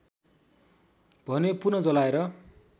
भने पुन जलाएर